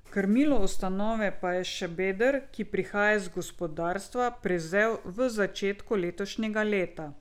Krmilo ustanove pa je Šabeder, ki prihaja iz gospodarstva, prevzel v začetku letošnjega leta.